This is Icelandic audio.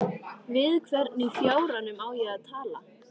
Við hvern í fjáranum á ég að tala?